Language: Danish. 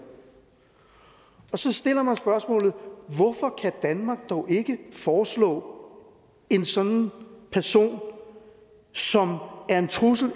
så stiller jeg mig spørgsmålet hvorfor kan danmark dog ikke foreslå en sådan person som er en trussel